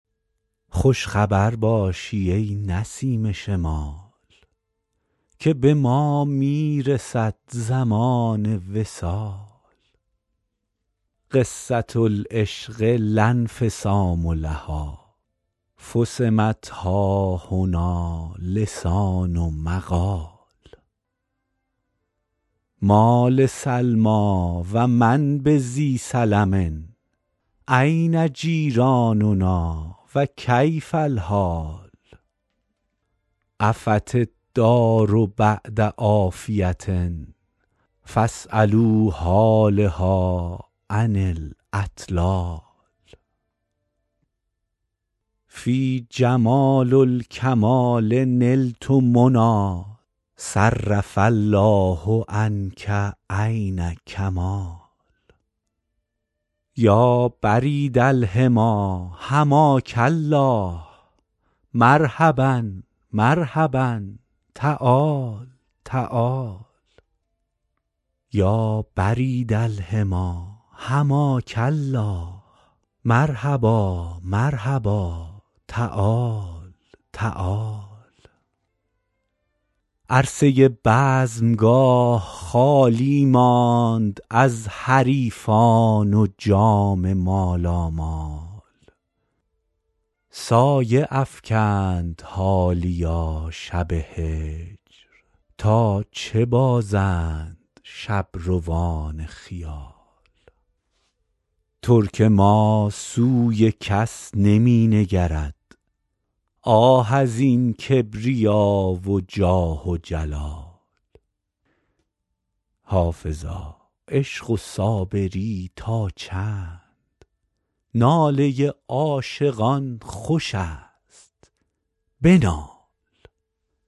خوش خبر باشی ای نسیم شمال که به ما می رسد زمان وصال قصة العشق لا انفصام لها فصمت ها هنا لسان القال ما لسلمی و من بذی سلم أین جیراننا و کیف الحال عفت الدار بعد عافیة فاسألوا حالها عن الاطلال فی جمال الکمال نلت منی صرف الله عنک عین کمال یا برید الحمی حماک الله مرحبا مرحبا تعال تعال عرصه بزمگاه خالی ماند از حریفان و جام مالامال سایه افکند حالیا شب هجر تا چه بازند شبروان خیال ترک ما سوی کس نمی نگرد آه از این کبریا و جاه و جلال حافظا عشق و صابری تا چند ناله عاشقان خوش است بنال